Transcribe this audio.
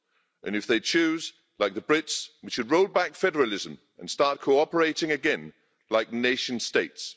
and if they choose, like the Brits, we should roll back federalism and start co operating again like nation states.